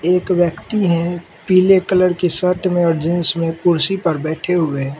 एक व्यक्ति हैं पीले कलर के शर्ट में और जींस में कुर्सी पर बैठे हुए--